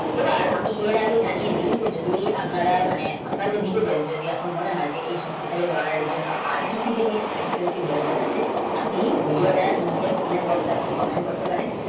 এবার এর আগে জানিয়ে দিয় যে যদি আপনারা মানে আপনাদের নিজেদের যদি এখন মনে হয় যে এই সব কিছু তো আজকে কি জিনিষ আপনি video টা নিচে আপনি kmen bossk এ komen করতে পারেন